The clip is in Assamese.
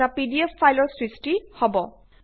এটা পিডিএফ ফাইলৰ সৃষ্টি হব